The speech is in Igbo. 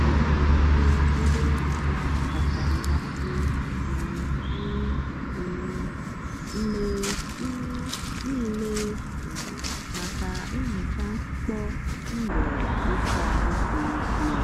ana m eji ngwa ihicha ọkacha mmasị um m um m mgbe um niile um maka ihicha ntụpọ ụlọ ịsa ahụ siri ike.